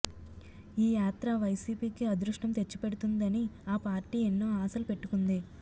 ఈ యాత్ర వైసీపీ కి అదృష్టం తెచ్చిపెడుతుందని ఆ పార్టీ ఎన్నో ఆశలు పెట్టుకుంది